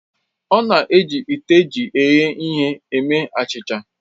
Ọ na-eji ite eji eghe ihe eme achịcha